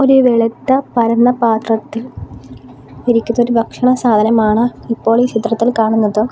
ഒര് വെളുത്ത പരന്ന പാത്രത്തിൽ ഇരിക്കുന്നൊരു ഭക്ഷണ സാധനമാണ് ഇപ്പോൾ ഈ ചിത്രത്തിൽ കാണുന്നത്.